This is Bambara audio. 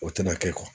O tɛna kɛ